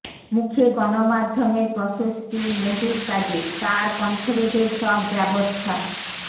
মুখে গণমাধ্যমের প্রশস্তি মোদির কাজে তার কণ্ঠরোধের সব ব্যবস্থা